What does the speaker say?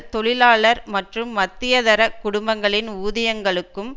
தொழிலாளர் மற்றும் மத்திய தர குடும்பங்களின் ஊதியங்களுக்கும்